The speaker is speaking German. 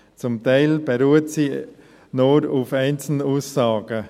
Zum Teil beruht diese nur auf einzelnen Aussagen.